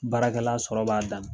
Baarakɛla sɔrɔ b'a dan na.